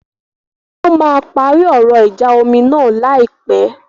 Wọ́n máa parí ọ̀rọ̀ ìjà omi náà láìpẹ̀.